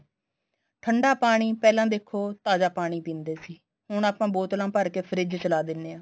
ਠੰਡਾ ਪਾਣੀ ਪਹਿਲਾਂ ਦੇਖੋ ਤਾਜ਼ਾ ਪਾਣੀ ਪੀਂਦੇ ਸੀ ਹੁਣ ਆਪਾਂ ਬੋਤਲਾ ਭਰ ਕੇ ਫਰਿਜ਼ ਚ ਲਾ ਦਿਨੇ ਆ